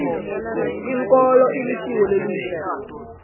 inkolo ilisiko lelihle